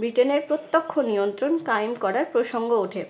ব্রিটেনের প্রত্যক্ষ নিয়ন্ত্রণ কায়েম করার প্রসঙ্গ ওঠে।